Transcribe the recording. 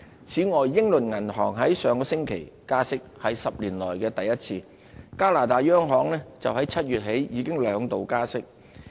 此外，英倫銀行在上星期加息，是10年來首次，加拿大央行自7月起已兩度加息。